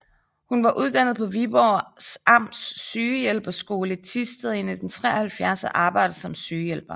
Hun var uddannet på Viborgs Amts Sygehjælperskole i Thisted i 1973 og arbejdede som sygehjælper